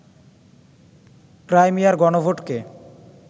ক্রাইমিয়ার গণভোটকে